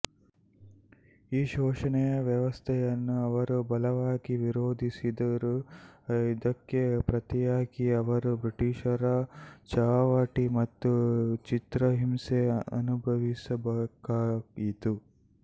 ಈ ಶೋಷಣೆಯ ವ್ಯವಸ್ಥೆಯನ್ನು ಅವರು ಬಲವಾಗಿ ವಿರೋಧಿಸಿದರು ಇದಕ್ಕೆ ಪ್ರತಿಯಾಗಿ ಅವರು ಬ್ರಿಟಿಷರ ಚಾವಟಿ ಮತ್ತು ಚಿತ್ರಹಿಂಸೆ ಅನುಭವಿಸಬೇಕಾಯಿತು